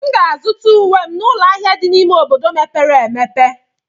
M ga-azụta uwe m n'ụlọ ahịa dị n'ime obodo mepere emepe.